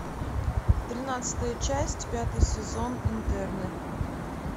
тринадцатая часть пятый сезон интерны